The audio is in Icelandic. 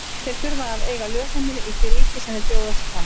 Þeir þurfa að eiga lögheimili í því ríki sem þeir bjóða sig fram.